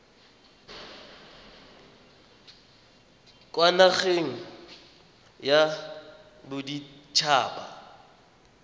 kwa nageng ya bodit haba